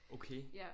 Okay